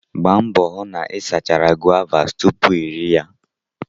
Gbaa mbọ hụ na ị sachara guavas tupu iri ya!